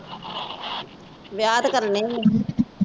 ਵਿਆਹ ਤੇ ਕਰਨੇ ਹੀ ਆ।